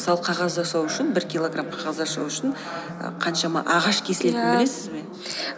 мысалы қағаз жасау үшін бір килограмм қағаз жасау үшін і қаншама ағаш кесілетін ия білесіз бе